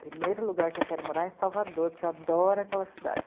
Primeiro lugar que eu quero morar é em Salvador, porque eu adoro aquela cidade.